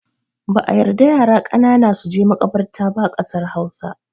Ba'a yarda yara ƙanana suje maƙabarta ba a ƙasar Hausa.